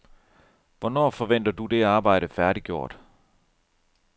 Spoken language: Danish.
Hvornår forventer du det arbejde færdiggjort?